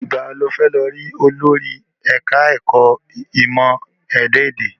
Ìgbà wo ni o fẹ́ lọ rí olórí ẹ̀ka ẹ̀kọ́ ìmọ ẹ̀dá ẹ̀dẹ̀?